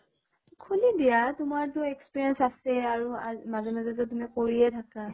খুলি দিয়া, তোমাৰ টো experience আছে আৰু আজ মাজে মাজে যে তুমি কৰিয়ে থাকা